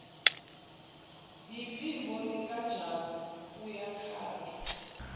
yiphimbo likajabu uyakhala